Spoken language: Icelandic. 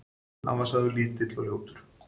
Hann var sagður lítill og ljótur.